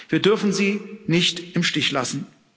Wir dürfen sie nicht im Stich lassen.